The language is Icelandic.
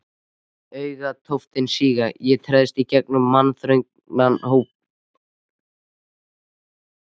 Augnatóftirnar síga, ég treðst í gegnum mannþröngina, hrópa